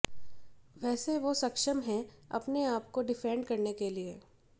वैसे वो सक्षम है अपने आप को डिफेंड करने के लिए